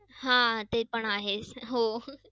आह पण ते आहेच. हो